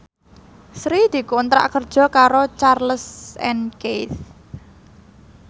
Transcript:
Sri dikontrak kerja karo Charles and Keith